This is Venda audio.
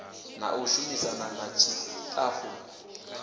na u shumisana na ṱshitafu